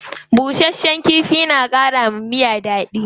Bushasshen kifi na kara wa miya dadi.